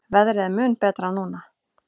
Veðrið er mun betra núna.